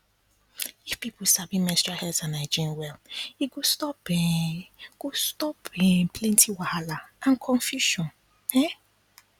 if people sabi menstrual health and hygiene well e go stop um go stop um plenty wahala and confusion um